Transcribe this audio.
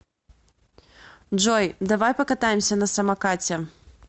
джой давай покатаемся на самокате